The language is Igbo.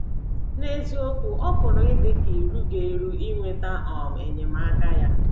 N’eziokwu, ọ pụrụ ịdị gị ka i rughị eru inweta um enyemaka ya.